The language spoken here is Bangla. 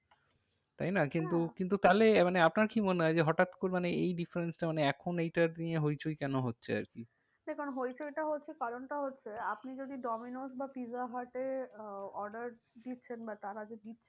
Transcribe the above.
তাই না কিন্তু, কিন্তু তাহলে আপনার কি মনে হয় যে হঠাৎ করে মানে এই difference টা মানে এখন এইটা নিয়ে হইচই কেন হচ্ছে আর কি? দেখুন হইচইটা হচ্ছে কারণটা হচ্ছে আপনি যদি ডোমিনোজ বা পিৎজা হাট এ আহ order দিচ্ছেন বা তারা যে দিচ্ছে~